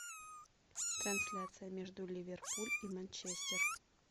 трансляция между ливерпуль и манчестер